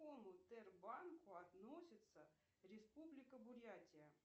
к какому тербанку относится республика бурятия